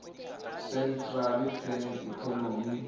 centrally planned economy